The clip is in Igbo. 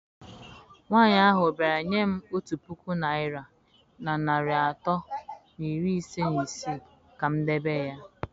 Nwanyị ahụ bịara nye m otu puku naịra na narị atọ na iri ise na isii ka m debe ya.